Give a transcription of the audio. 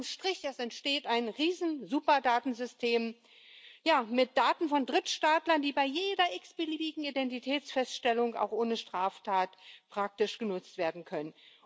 Unterm Strich Es entsteht ein Riesensuperdatensystem mit Daten von Drittstaatlern, die bei jeder x beliebigen Identitätsfeststellung auch ohne Straftat praktisch genutzt werden können.